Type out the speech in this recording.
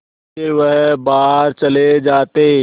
फिर वह बाहर चले जाते